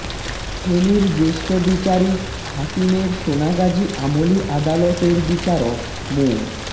ফেনীর জ্যেষ্ঠ বিচারিক হাকিমের সোনাগাজী আমলি আদালতের বিচারক মো